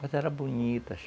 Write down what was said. Mas era bonita.